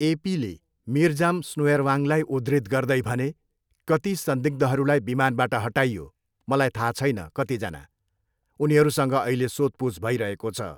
एपीले मिरजाम स्नोएरवाङलाई उद्धृत गर्दै भने, कति संदिग्धहरूलाई विमानबाट हटाइयो, मलाई थाहा छैन कतिजना। उनीहरूसँग अहिले सोधपुछ भइरहेको छ।